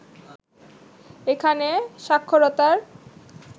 এখানে সাক্ষরতার